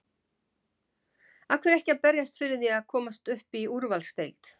Af hverju ekki að berjast fyrir því að komast upp í úrvalsdeild?